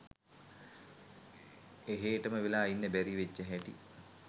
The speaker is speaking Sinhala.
එහේටම වෙලා ඉන්න බැරි වෙච්ච හැටි